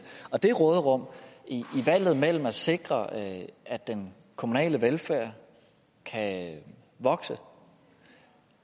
det råderum i valget mellem at sikre at at den kommunale velfærd kan vokse